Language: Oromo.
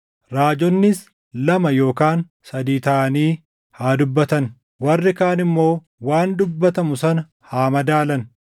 Raajonnis lama yookaan sadii taʼanii haa dubbatan; warri kaan immoo waan dubbatamu sana haa madaalan.